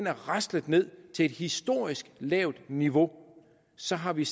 er raslet ned til et historisk lavt niveau så har vi